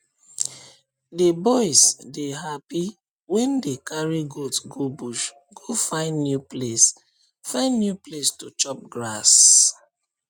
the boys dey happy wen dey carry goat go bush go find new place find new place to chop grass